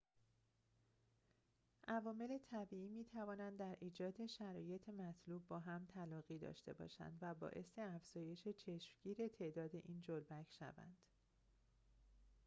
عوامل طبیعی می‌توانند در ایجاد شرایط مطلوب با هم تلاقی داشته باشند و باعث افزایش چشمگیر تعداد این جلبک شوند